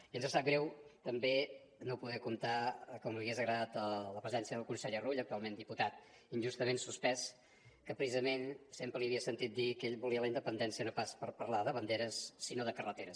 i ens sap greu també no poder comptar com li hagués agradat amb la presència del conseller rull actualment diputat injustament suspès que precisament sempre li havia sentit dir que ell volia la independència no pas per parlar de banderes sinó de carreteres